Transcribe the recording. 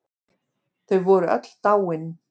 Þau voru öll dáin.